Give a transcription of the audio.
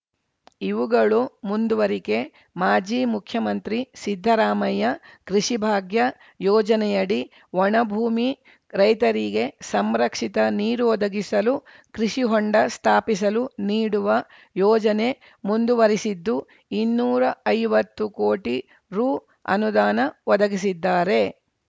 ಇವುಗಳು ಮುಂದುವರಿಕೆ ಮಾಜಿ ಮುಖ್ಯಮಂತ್ರಿ ಸಿದ್ದರಾಮಯ್ಯ ಕೃಷಿ ಭಾಗ್ಯ ಯೋಜನೆಯಡಿ ಒಣ ಭೂಮಿ ರೈತರಿಗೆ ಸಂರಕ್ಷಿತ ನೀರು ಒದಗಿಸಲು ಕೃಷಿ ಹೊಂಡ ಸ್ಥಾಪಿಸಲು ನೀಡುವ ಯೋಜನೆ ಮುಂದುವರೆಸಿದ್ದು ಇನ್ನೂರ ಐವತ್ತು ಕೋಟಿ ರು ಅನುದಾನ ಒದಗಿಸಿದ್ದಾರೆ